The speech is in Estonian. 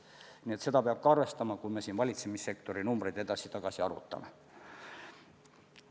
Nii et seda peab ka arvestama, kui me siin valitsemissektori numbreid edasi-tagasi arvutame.